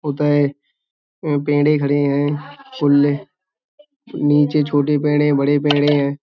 उदय में पेडें खड़े हैं। नीचे छोटे पेडें बड़े पेडें हैं।